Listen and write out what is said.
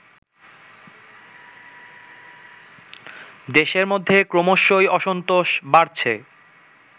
দেশের মধ্যে ক্রমশই অসন্তোষ বাড়ছে